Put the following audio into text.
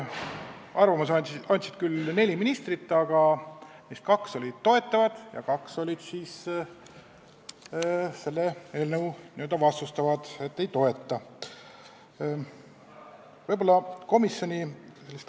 Aru andsid neli ministrit: kaks olid toetavad ja kaks olid vastu, ei toetanud seda eelnõu.